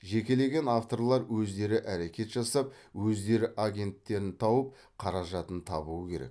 жекелеген авторлар өздері әрекет жасап өздері агенттерін тауып қаражатын табуы керек